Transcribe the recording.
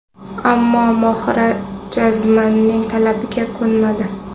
Ammo Mohira jazmanining talabiga ko‘nmadi.